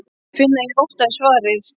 Ég finn að ég óttast svarið.